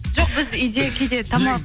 жоқ біз үйде кейде тамақ